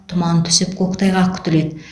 тұман түсіп көктайғақ күтіледі